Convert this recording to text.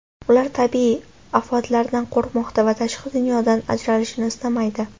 Ular tabiiy ofatlardan qo‘rqmoqda va tashqi dunyodan ajralishni istamaydi.